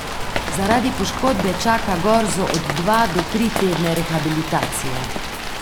Zaradi poškodbe čaka Gorzo od dva do tri tedne rehabilitacije.